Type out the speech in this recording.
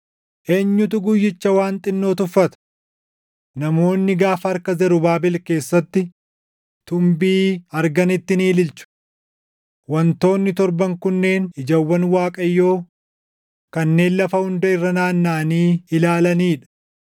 “Eenyutu guyyicha waan xinnoo tuffata? Namoonni gaafa harka Zarubaabel keessatti tunbii arganitti ni ililchu. Wantoonni torban kunneen ijawwan Waaqayyoo kanneen lafa hunda irra nanaannaʼanii ilaalanii dha.”